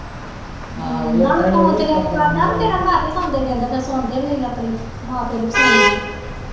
ਨਾਲੇ ਫੋਨ ਚ ਨਿਆਣੇ ਵਰ ਜਾਣ ਫਿਰ ਘੱਟ ਈ ਸੁਣਦੇ ਗਿਣਦੇ ਫਿਰ ਸੁਣਦੇ ਵੀ ਨਹੀਂ ਆਪਣੀ ਮਾਂ ਪਿਓ ਦੀ ਪੀ ਸੁਣ ਲਈਏ।